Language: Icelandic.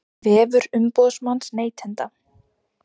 Vefur umboðsmanns neytenda